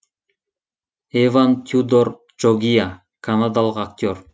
эван тюдор джогиа канадалық актер